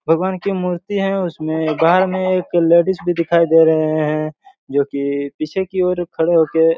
भगवान की मूर्ति हैं उसमे दाये में एक लेडीज दिखाई दे रही हैं जो की पीछे की ओर खड़े हो के--